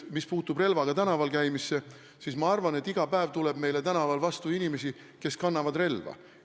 Mis puutub relvaga tänaval käimisse, siis ma arvan, et iga päev tuleb meile tänaval vastu inimesi, kes kannavad relva.